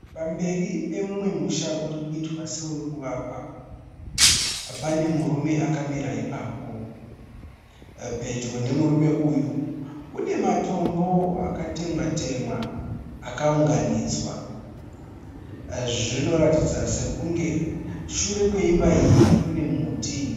Pamberi peumwe musha urikuitwa seuri kuvakwa. Pane murume akamira ipapo. Pedyo nemurume uyu kune matombo akatemwa temwa akaunganidzwa. Zvinoratidza sekunge shure kweimba iyi kune muti.